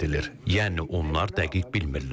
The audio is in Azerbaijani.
Yəni onlar dəqiq bilmirlər.